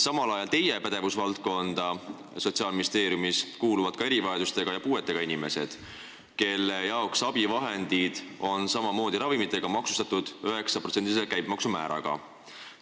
Teie pädevusvaldkonda Sotsiaalministeeriumis kuuluvad ka erivajadustega ja puuetega inimesed, kelle jaoks abivahendid on samamoodi nagu ravimid maksustatud 9%-lise käibemaksu määraga.